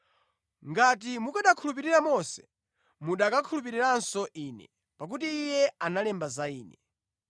Ngati mukanakhulupirira Mose, mukanakhulupiriranso Ine, pakuti iye analemba za Ine.